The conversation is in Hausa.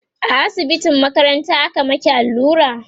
a asibitin makaranta aka maki allura?